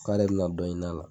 K'ale be na dɔ ɲin'ala